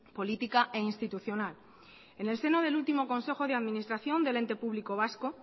política e institucional en el seno del último consejo de administración del ente público vasco